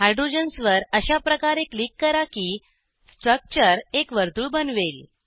hydrogens वर अशा प्रकारे क्लिक करा की स्ट्रक्चर एक वर्तुळ बनवेल